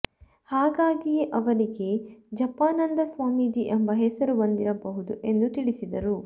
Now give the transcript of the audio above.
ಹಾಗಾಗಿಯೇ ಅವರಿಗೆ ಜಪಾನಂದ ಸ್ವಾಮೀಜಿ ಎಂಬ ಹೆಸರು ಬಂದಿರಬಹುದು ಎಂದು ತಿಳಿಸಿದರು